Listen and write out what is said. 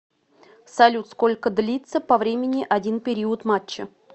салют сколько длится по времени один период матча